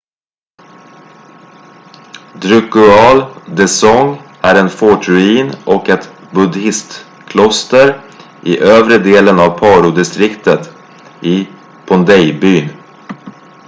drukgyal dzong är en fortruin och ett buddhistkloster i övre delen av parodistriktet i phondey-byn